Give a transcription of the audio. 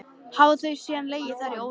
Hafa þau síðan legið þar í óreiðu.